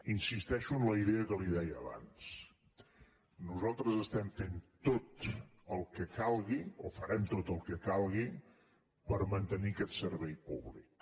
insisteixo en la idea que li deia abans nosaltres estem fent tot el que calgui o farem tot el que calgui per mantenir aquest servei públic